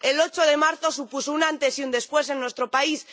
El 8 de marzo supuso un antes y un después en nuestro país.